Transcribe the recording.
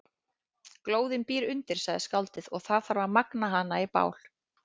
Glóðin býr undir, sagði skáldið, og það þarf að magna hana í bál.